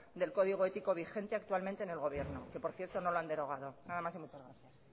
del código ético vigente actualmente en el gobierno que por cierto no lo han derogado nada más y muchas gracias